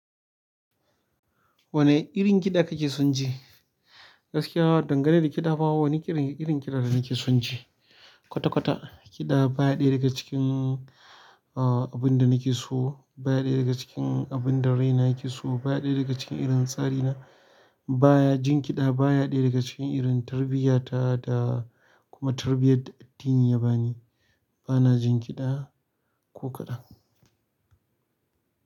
Wane irin kiɗa kake son ji? Gaskiya, dangane da kiɗa ba wani irin kiɗa da nake son ji. Kwata-kwata ƙida baya ɗaya daga cikin, ah, abun da nake so, baya ɗaya daga cikin abun da raina yake so, baya ɗaya daga cikin irin tsari na. Baya-- jin kiɗa baya ɗaya daga cikin irin tarbiyata da kuma tarbiyar da addini ya bani. Bana jin kiɗa ko kaɗan.